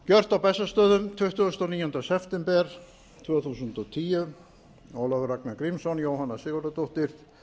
gjört á bessastöðum tuttugasta og níunda september tvö þúsund og tíu ólafur ragnar grímsson jóhanna sigurðardóttir